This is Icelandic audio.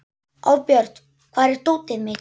Árbjört, hvar er dótið mitt?